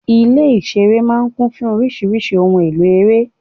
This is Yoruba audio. Ilé-ìṣeré máa ń kún fún oríṣiríṣi ohun-èlò ere.